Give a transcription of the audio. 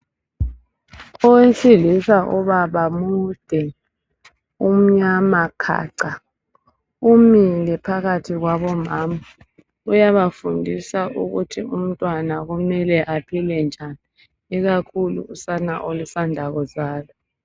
Owesilisa ubaba mude umnyama khaca umile phakathi kwabomama uyabafundisa ukuthi umntwana kumele aphile njani ikakhulu usane olusanda kuzalwa.